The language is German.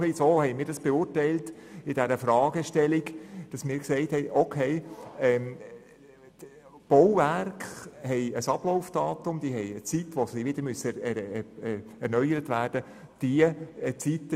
In etwa so haben wir diese Fragestellung beurteilt und sind zum Schluss gekommen, dass Bauwerke ein Ablaufdatum haben und zu einer bestimmten Zeit erneuert werden müssen.